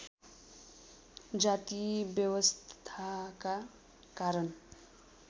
जाति व्यवस्थाका कारण